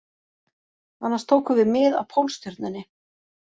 Annars tókum við mið af Pólstjörnunni